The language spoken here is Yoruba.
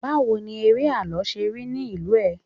bawo ni ere àlọ se rí nì ìlú ẹ